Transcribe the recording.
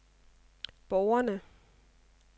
borgerne